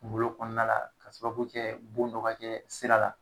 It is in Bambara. Kungolo kɔnɔna ka sababu kɛ bon dɔ ka kɛ sira la